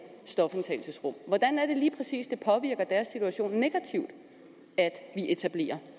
stofindtagelsesrum hvordan er det lige præcis det påvirker deres situation negativt at vi etablerer